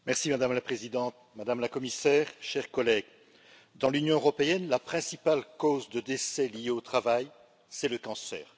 Madame la Présidente, Madame la Commissaire, chers collègues, dans l'Union européenne, la principale cause de décès liés au travail, c'est le cancer.